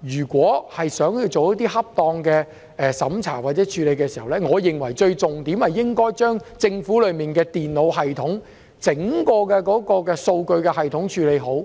如果是想做一些恰當的審查或處理，我認為重點應該是將政府內的電腦系統、整個數據系統處理好。